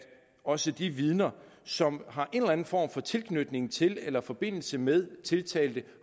også de vidner som har en eller en form for tilknytning til eller forbindelse med tiltalte